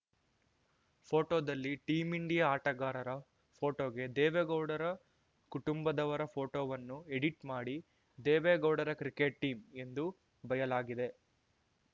ಫೋಟೋದಲ್ಲಿ team India ಆಟಗಾರರ ಫೋಟೋಗೆ ದೇವೇಗೌಡರ ಕುಟುಂಬದವರ ಫೋಟೊವನ್ನು ಎಡಿಟ್ ಮಾಡಿ ದೇವೇಗೌಡರ ಕ್ರಿಕೆಟ್ ಟೀಂ ಎಂದು ಬಯಲಾಗಿದೆ